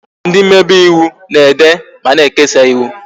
Ndị mmebe ịwụ na-ede ma na-ekesa ịwụ